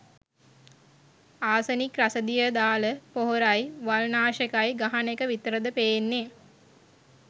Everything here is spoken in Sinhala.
ආසනික් රසදිය දාල පොහොරයි වල් නාශකයි ගහන එක විතරද පේන්නේ.